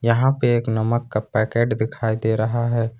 यहां पर एक नमक का पैकेट दिखाई दे रहा है।